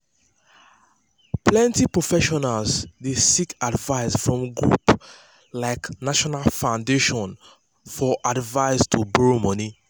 plenty professionals dey seek advice from groups like like national foundation for advise to borrow money